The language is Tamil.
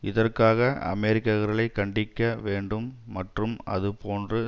இதற்காக அமெரிக்கர்களை கண்டிக்க வேண்டும் மற்றும் அதுபோன்று